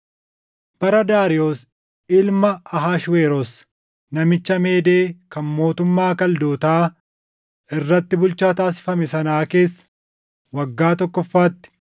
Bara Daariyoos ilma Ahashweroos namicha Meedee kan mootummaa Kaldootaa irratti bulchaa taasifame sanaa keessa waggaa tokkoffaatti